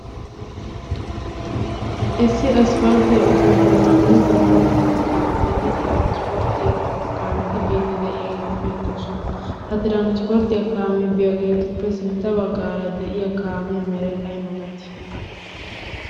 Issi aspalttiya ogiya bollan dumma dumma kaametinne tiranspporttiya kaameti biiddi de'iyageeti beettoosona. Ha tiranspporttiya kaamee biidi de'iyagaappe sintta baggaara eqqida kaamiya meray ay malati?